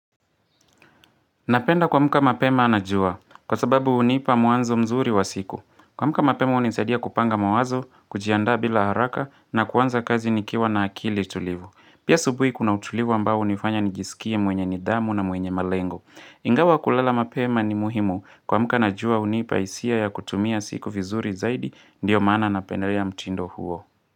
Napenda kuamka mapema anajua. Kwa sababu hunipa mwanzo mzuri wa siku. Kuamka mapema hunisadia kupanga mawazo, kujiandaa bila haraka na kuanza kazi nikiwa na akili tulivu. Pia asubuhi kuna utulivu ambao hunifanya nijisikie mwenye nidhamu na mwenye malengo. Ingawa kulala mapema ni muhimu. Kuamka najua hunipa hisia ya kutumia siku vizuri zaidi ndiyo maana napendelea mtindo huo.